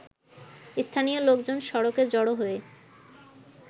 স্থানীয় লোকজন সড়কে জড়ো হয়ে